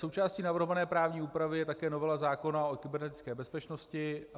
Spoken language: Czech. Součástí navrhované právní úpravy je také novela zákona o kybernetické bezpečnosti.